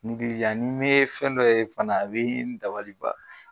Ngilizan ni ne fɛn dɔ ye fana a be n dabali ban